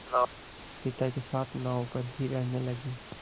पिता के साथ नाव पर ही रहने लगी